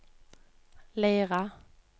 Leira